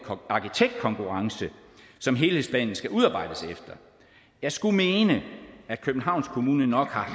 arkitektkonkurrence som helhedsplanen skal udarbejdes efter jeg skulle mene at københavns kommune nok har